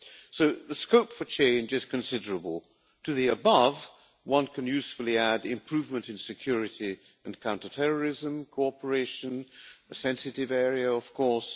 So the scope for change is considerable. To the above, one can usefully add improvement in security and counterterrorism cooperation a sensitive area of course.